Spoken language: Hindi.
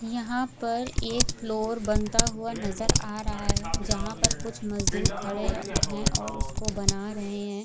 यहाँ पर एक फ्लोर बनता हुआ नजर आ रहा है जहां पर कुछ मजदुर खड़े है और उसको बना रहे है।